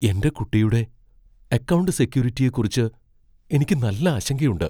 എന്റെ കുട്ടിയുടെ അക്കൗണ്ട് സെക്യൂരിറ്റിയെക്കുറിച്ച് എനിക്ക് നല്ല ആശങ്കയുണ്ട് .